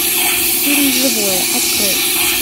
фильм живое открой